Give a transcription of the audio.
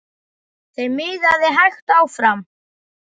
Þeim miðaði hægt áfram.